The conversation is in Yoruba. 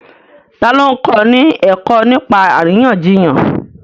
Ta ló ń kọ́ni ní ẹ̀kọ́ nípa àríyànjiyàn?